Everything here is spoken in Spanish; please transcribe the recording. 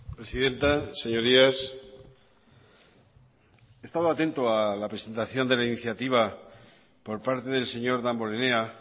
presidenta señorías he estado atento a la presentación de la iniciativa por parte del señor damborenea